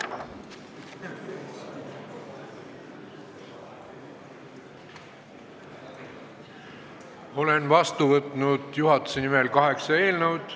Olen juhatuse nimel vastu võtnud kaheksa eelnõu.